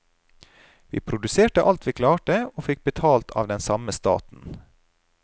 Vi produserte alt vi klarte og vi fikk betalt av den samme staten.